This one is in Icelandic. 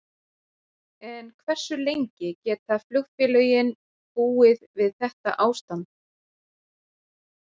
En hversu lengi geta flugfélögin búið við þetta ástand?